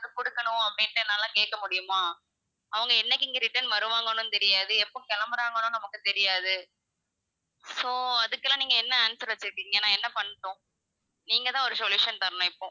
குடுக்கணும் அப்படின்ட்டு என்னால கேக்க முடியுமா? அவுங்க என்னைக்கு இங்க return வருவாங்கன்னும் தெரியாது எப்போ கிளம்புறாங்கன்னும் நமக்கு தெரியாது so அதுக்கெல்லாம் நீங்க என்ன answer வச்சுருக்கீங்க நான் என்ன பண்ணட்டும் நீங்க தான் ஒரு solution தரணும் இப்போ.